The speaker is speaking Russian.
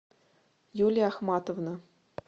юлия ахматовна